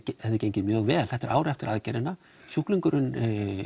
hefði gengið mjög vel þetta er ári eftir aðgerðina sjúklingurinn